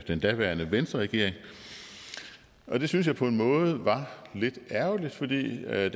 den daværende venstreregering og det synes jeg på en måde var lidt ærgerligt fordi da